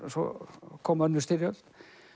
svo kom önnur styrjöld